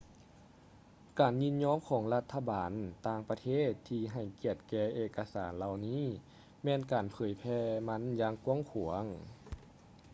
ການຍິນຍອມຂອງລັດຖະບານຕ່າງປະເທດທີ່ໃຫ້ກຽດແກ່ເອກະສານເຫຼົ່ານີ້ແມ່ນການເຜີຍແຜ່ມັນຢ່າງກວ້າງຂວາງ